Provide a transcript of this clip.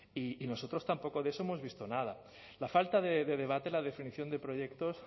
y nosotros tampoco de eso hemos visto nada la falta de debate la definición de proyectos